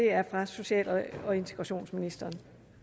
er fra social og integrationsministeren